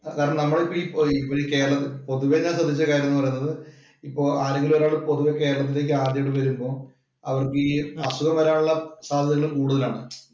കാരണം നമ്മളീ കേരളം പൊതുവേ ഞാന്‍ ശ്രദ്ധിച്ച കാര്യം എന്ന് പറയുന്നത് ഇപ്പൊ ആരെങ്കിലും ഒരാള് പൊതുവേ ഈ കേരളത്തിലോട്ടു ആദ്യമായി വരുമ്പോള്‍ അവര്‍ക്ക് ഈ അസുഖം വരാനുള്ള സാദ്ധ്യതകള്‍ കൂടുതലാണ്.